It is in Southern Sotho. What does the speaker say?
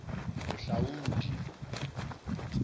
bohlaudi